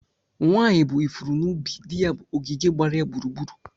Nwanyị bụ ifuru n'ubi; di ya bụ ogige gbara ya gburugburu.